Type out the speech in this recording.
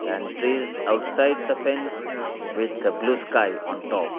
and trees outside the fence with the blue sky on top.